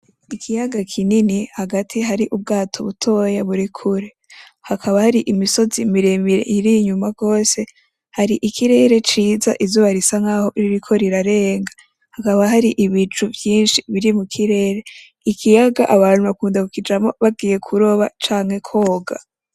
Ikiyaga kinini hagati hari ubwato butoya buri kure hakaba hari imisozi miremire iri inyuma gose hari ikirere ciza izuba risa nkaho ririko rirarenga hakaba hari ibicu vyinshi biri mu kirere ikiyaga abantu bakunda kukijamwo bagiye kuroba canke kwoga.